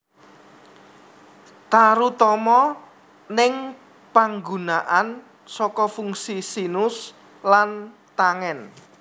Tarutama ning panggunaan saka fungsi sinus lan tangen